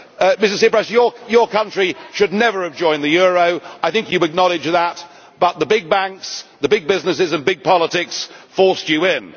Mr Tsipras, your country should never have joined the euro I think you acknowledge that but the big banks, the big businesses and big politics forced you in.